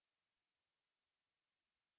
हम इस window को बंद करते हैं